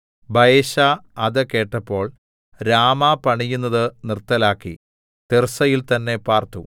ബയെശാ അത് കേട്ടപ്പോൾ രാമാ പണിയുന്നത് നിർത്തലാക്കി തിർസ്സയിൽ തന്നേ പാർത്തു